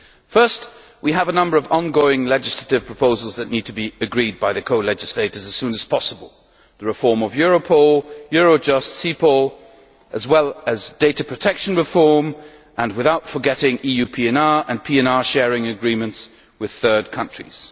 Firstly, we have a number of ongoing legislative proposals that need to be agreed by the co legislators as soon as possible the reform of Europol, Eurojust, and CEPOL, as well as data protection reform, without forgetting EU PNR and PNR sharing agreements with third countries.